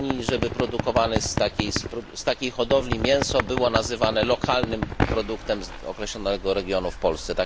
Danii, żeby produkowane w takiej hodowli mięso było nazywane lokalnym produktem z określonego regionu w Polsce.